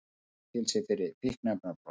Í fangelsi fyrir fíkniefnabrot